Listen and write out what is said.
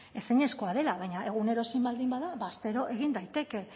ezinezkoa dela baina egunero ezin baldin bada ba astero egin daiteke